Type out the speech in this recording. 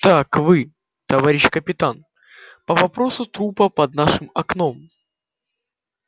так вы товарищ капитан по вопросу трупа под нашим окном